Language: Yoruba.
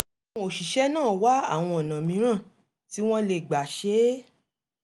àwọn òṣìṣẹ́ náà wá àwọn ọ̀nà mìíràn tí wọ́n lè gbà ṣe é